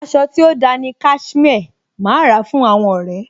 Aṣọ tí ó da ni Cashmere. Màá ra fún àwọn ọ̀rẹ́.